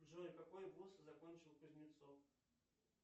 джой какой вуз закончил кузнецов